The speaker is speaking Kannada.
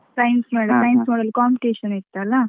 Science, science model competition ಇತ್ತಲ್ಲ.